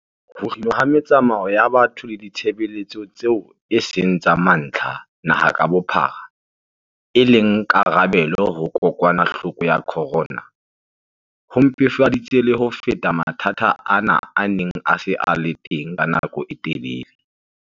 Ho kginwa ha metsamao ya batho le ditshebeletso tseo e seng tsa mantlha naha ka bophara e le karabelo ho kokwanahloko ya corona, ho mpefaditse le ho feta mathata ana a neng a se a le teng ka nako e telele.